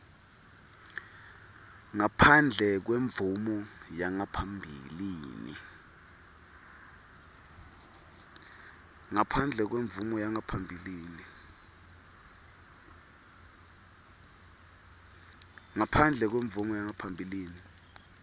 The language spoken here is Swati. ngaphandle kwemvumo yangaphambilini